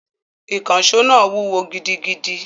Ìkànṣó náà wúwo gidigidi